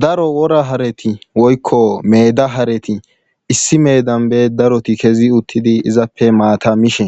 Daro wora hareti woykko meeda hareti issi meedan be daro kezi uttidi izappe maata mishe